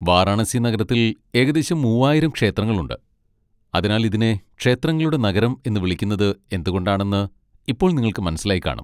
വാരണാസി നഗരത്തിൽ ഏകദേശം മൂവായിരം ക്ഷേത്രങ്ങളുണ്ട്, അതിനാൽ ഇതിനെ 'ക്ഷേത്രങ്ങളുടെ നഗരം' എന്ന് വിളിക്കുന്നത് എന്തുകൊണ്ടാണെന്ന് ഇപ്പോൾ നിങ്ങൾക്ക് മനസ്സിലായിക്കാണും.